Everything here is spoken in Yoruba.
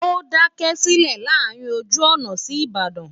ó daṣẹ́ sílẹ̀ láàárín ojú ọ̀nà sí Ìbàdàn